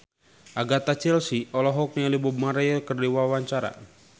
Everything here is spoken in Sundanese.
Agatha Chelsea olohok ningali Bob Marley keur diwawancara